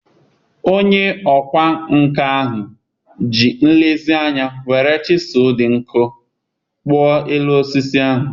Onye ọkwá nkà ahụ ji nlezianya were chịsu dị nkọ kpụọ elu osisi ahụ